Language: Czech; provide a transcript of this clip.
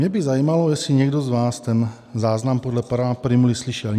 Mě by zajímalo, jestli někdo z vás ten záznam podle pana Prymuly slyšel.